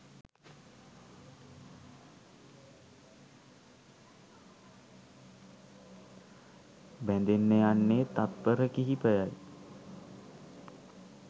බැදෙන්න යන්නේ තත්පර කිහිපයයි